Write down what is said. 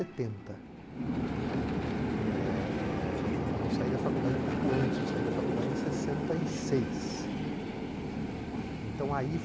não é. Eh eh e eu saí da faculdade um pouco antes, eu saí da faculdade em sessenta e seis, não é. Então aí